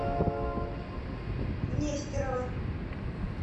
нестерова